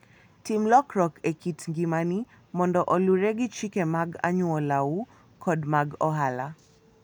Tim lokruok e kit ngimani mondo oluwre gi chike mag anyuolau kod mag ohala.